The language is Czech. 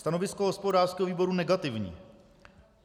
Stanovisko hospodářského výboru negativní.